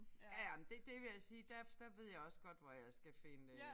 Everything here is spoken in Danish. Ja ja men det det vil jeg sige der der ved jeg også godt hvor jeg skal finde øh